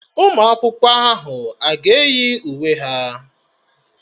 Ụmụ akwụkwọ ahụ aga eyi uwe ha?